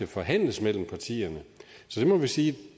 forhandles mellem partierne så det må vi sige